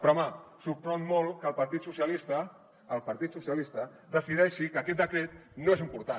però home sorprèn molt que el partit socialistes el partit socialistes decideixi que aquest decret no és important